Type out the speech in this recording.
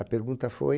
A pergunta foi...